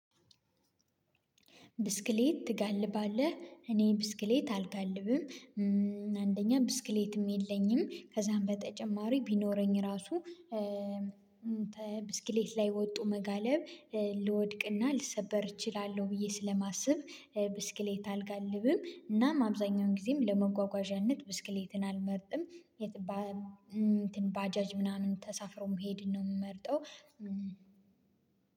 ብስክሌት ትጋልባለህ እኔ ብስክሌት አልጋልብም። አንደኛ ብስክሌትም የለኝም። ከዛም በተጨማሪ ቢኖረኝ ራሱ ብስክሌት ላይ ወጥቶ መጋለብ ልወድቅና ልሰበር እችላለሁ ብዬ ስለማስብ ብስክሌት አልጋልብም። እናም አብዛኛውን ጊዜም ለመጓጓዣነት ብስክሌትን አልመርጥም። ባጃጅ ምናምን ተሳፍሮ መሄድን ነው የምመርጠው።